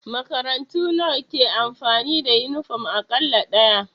Makarantu nawa ke amfani da yunifom kala ɗaya?